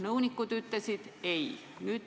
Nõunikud ütlesid, ei ole.